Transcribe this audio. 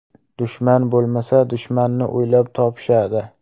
Dushman bo‘lmasa, dushmanni o‘ylab topishadi.